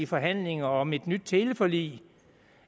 forhandlinger om et nyt teleforlig